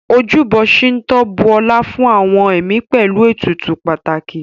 Ojúbọ ṣíńtò bu ọlá fún àwọn ẹ̀mí pẹ̀lú ètùtù pàtàkì